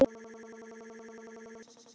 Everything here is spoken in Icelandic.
Jónas Hallgrímsson bjó til orð.